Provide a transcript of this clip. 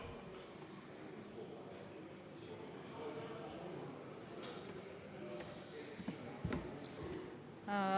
Palun!